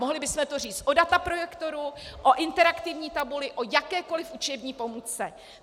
Mohli bychom to říct o dataprojektoru, o interaktivní tabuli, o jakékoliv učební pomůcce.